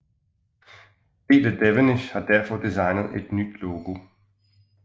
Peter Devenish har derfor designet et nyt logo